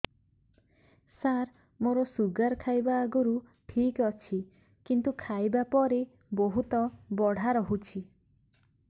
ସାର ମୋର ଶୁଗାର ଖାଇବା ଆଗରୁ ଠିକ ଅଛି କିନ୍ତୁ ଖାଇବା ପରେ ବହୁତ ବଢ଼ା ରହୁଛି